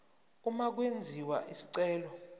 uma kwenziwa isicelo